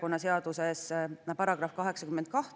Kohalolijaks registreerus 60 Riigikogu liiget, puudub 41.